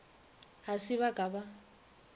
ga se ba ka ba